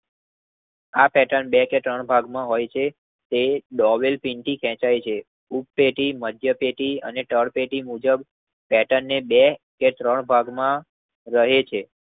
આ પેર્ટન બે કે ત્રણ ભાગમાં હોય છે. તે ડેવેલ પિંકી તેચાય છે. ઉપ્ટતેથી મધ્યતેથી અને તરપેટી મુજબ પેટનને બે કે ત્રણ ભાગ માં રહે છે.